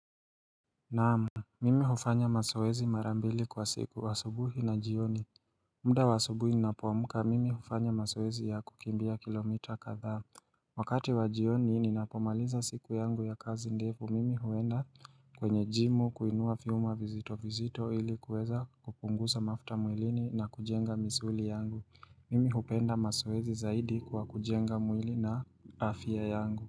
Naam, mimi hufanya mazoezi marambili kwa siku, asubuhi na jioni. Mda wa asubuhi ninapoamka, mimi hufanya mazoezi ya kukimbia kilomita kadhaa. Wakati wa jioni ninapomaliza siku yangu ya kazi ndefu, mimi huenda kwenye jimu kuinua vyuma vizito vizito ili kuweza kupunguza mafta mwilini na kujenga misuli yangu. Mimi hupenda mazoezi zaidi kwa kujenga mwili na afya yangu.